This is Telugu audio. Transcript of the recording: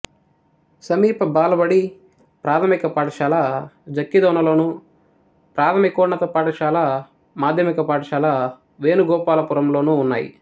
సమీప బాలబడి ప్రాథమిక పాఠశాల జక్కిదొనలోను ప్రాథమికోన్నత పాఠశాల మాధ్యమిక పాఠశాల వేణుగోపాలపురంలోనూ ఉన్నాయి